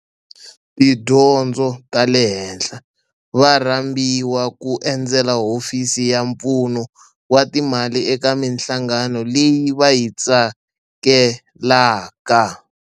Tidyondzo ta le henhla va rhambiwa ku endzela Hofisi ya Pfuno wa Timali eka mihlangano leyi va yi tsakelaka.